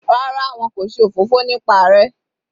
Rárá, wọn kò ṣe òfófó nípa rẹ.